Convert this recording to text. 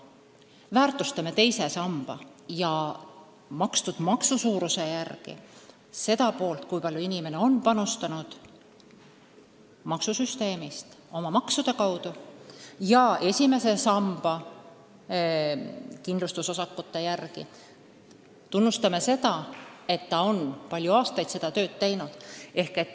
Me väärtustame teise samba alusel seda, kui palju inimene on panustanud maksusüsteemi oma maksudega, ja esimese samba kindlustusosakute alusel tunnustame seda, et ta on palju aastaid oma tööd teinud.